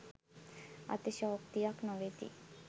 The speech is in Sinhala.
අතිශයෝක්තියක් නොවෙති